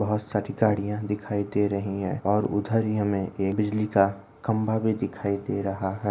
बहुत सारी गड़ियाँ दिखाई दे रही है और उधर ही हमे ये बिजली का खंबा भी दिखाई दे रहा है।